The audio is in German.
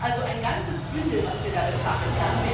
Es ist also ein ganzes Bündel, was wir da betrachten.